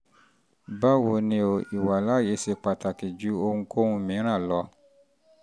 báwo ni o? ìwàláàyè ṣe pàtàkì ju ohunkóhun mìíràn lọ